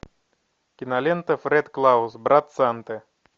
кинолента фред клаус брат санты